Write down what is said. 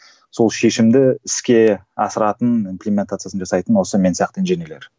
сол шешімді іске асыратын жасайтын осы мен сияқты инженерлер